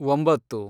ಒಂಬತ್ತು